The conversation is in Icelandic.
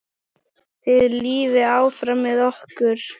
Þið lifið áfram með okkur.